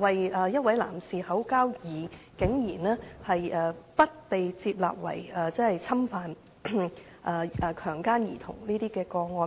為一名男士口交，但竟然不列作侵犯或強姦兒童的個案。